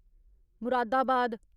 Moradabad